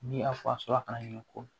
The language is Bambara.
Ni a fa sɔrɔla kana ɲini ko